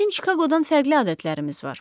Bizim Çikaqodan fərqli adətlərimiz var.